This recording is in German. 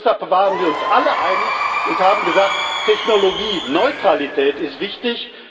Deshalb waren wir uns alle einig und haben gesagt, Technologieneutralität ist wichtig.